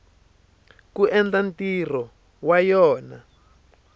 ku endla ntirho wa yona